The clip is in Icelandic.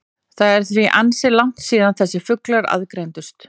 Það er því ansi langt síðan þessir fuglar aðgreindust.